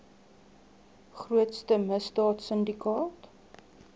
grootste misdaad sindikaat